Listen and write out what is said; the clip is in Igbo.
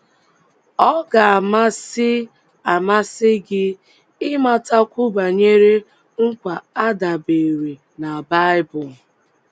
Ọ̀ ga - amasị - amasị gị ịmatakwu banyere nkwa a dabeere na Bible?